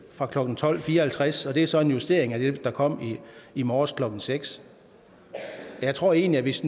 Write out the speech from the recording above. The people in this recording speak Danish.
fra klokken tolv fire og halvtreds og det er så en justering af det der kom i morges klokken seks jeg tror egentlig at hvis